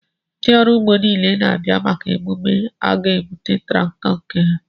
Ndị ọrụ ugbo niile na-abịa maka emume a ga-ebute traktọ nke ha